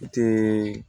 I tɛ